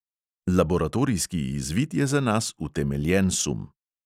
Laboratorijski izvid je za nas utemeljen sum.